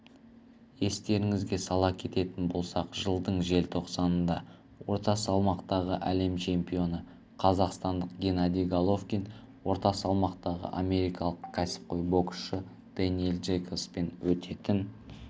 естеріңізге сала кететін болсақ жылдың желтоқсанында орта салмақтағы әлем чемпионы қазақстандық геннадий головкин орта салмақтағы америкалық кәсібқой боксшы дэниел джейкобспен өтетін